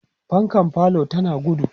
fankan falo tana gudu